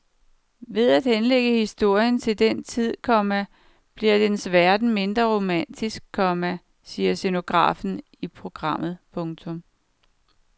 Ved at henlægge historien til den tid, komma bliver dens verden mindre romantisk, komma siger scenografen i programmet. punktum